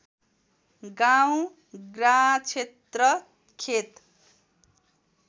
गाँव ग्राँक्षेत्र खेत